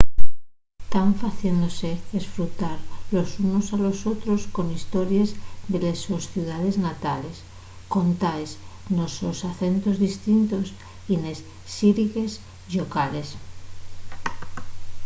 tán faciéndose esfrutar los unos a los otros con histories de les sos ciudaes natales contaes nos sos acentos distintos y nes xírigues llocales